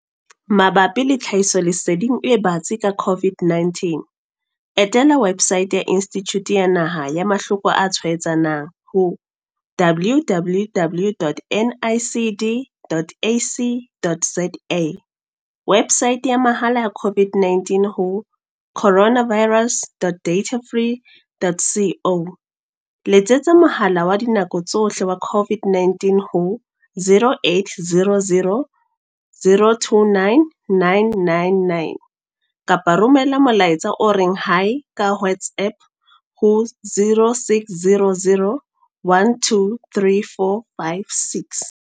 Mabapi le tlhahisoleseding e batsi ka COVID-19, etela websaete ya Institjhuti ya Naha ya Mahloko a Tshwaetsanang howww.nicd.ac.za, websaete ya mahala ya COVID-19 ho coronavirus.datafree.co, letsetsa Mohala wa Dinako tsohle wa COVID-19 ho 0800 029 999 kapa romela molaetsa o reng, Hi, ka WhatsApp ho0600 12 3456.